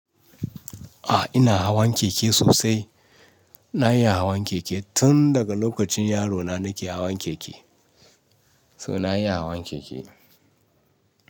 Ah ina hawan keke sosai. Na iya hawan keke tun daga lokacin yarona nake hawan keke. So na iya hawan keke.